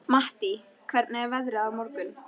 Mattý, hvernig er veðrið á morgun?